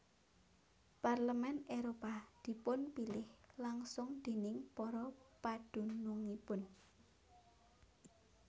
Parlemen Éropah dipunpilih langsung déning para padunungipun